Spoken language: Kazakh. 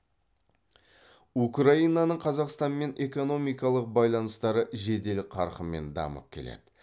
украинаның қазақстанмен экономикалық байланыстары жедел қарқынмен дамып келеді